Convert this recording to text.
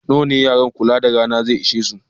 Yara nawa ne wurin kula da rana zai iya ƙunsar?